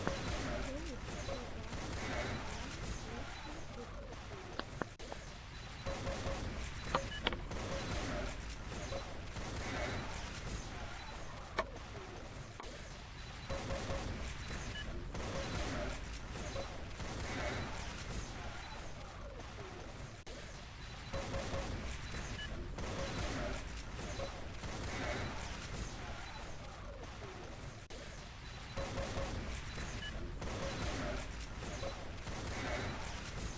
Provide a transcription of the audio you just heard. доуп ту ван ван ван лучший выпуск